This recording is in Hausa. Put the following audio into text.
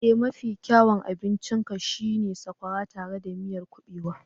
Ee! Mafi kyawun abincin ka shi ne sakwara tare da miyan kubewa